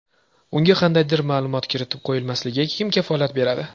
Unga qandaydir ma’lumot kiritib qo‘yilmasligiga kim kafolat beradi?